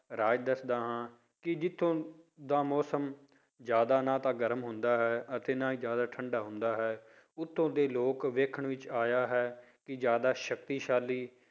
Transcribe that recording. ਰਾਜ ਦੱਸਦਾ ਹਾਂ ਕਿ ਜਿੱਥੋਂ ਦਾ ਮੌਸਮ ਜ਼ਿਆਦਾ ਨਾ ਤਾਂ ਗਰਮ ਹੁੰਦਾ ਹੈ ਅਤੇ ਨਾ ਜ਼ਿਆਦਾ ਠੰਢਾ ਹੁੰਦਾ ਹੈ, ਉੱਥੋਂ ਦੇ ਲੋਕ ਵੇਖਣ ਵਿੱਚ ਆਇਆ ਹੈ ਕਿ ਜ਼ਿਆਦਾ ਸਕਤੀਸ਼ਾਲੀ